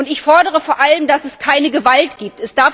Ich fordere vor allem, dass es keine Gewalt gibt.